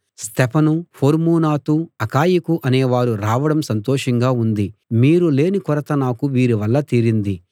స్తెఫను ఫొర్మూనాతు అకాయికు అనే వారు రావడం సంతోషంగా ఉంది మీరు లేని కొరత నాకు వీరి వల్ల తీరింది